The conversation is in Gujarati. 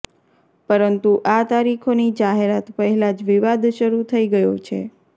પરંતું આ તરીખોની જાહેરાત પહેલા જ વિવાદ શરૂ થઈ ગયો છે